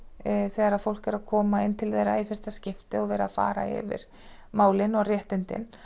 þegar fólk er að koma inn til þeirra í fyrsta skipti og vera að fara yfir málin og réttindin